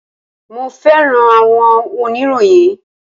mo fẹràn awọn oniroyin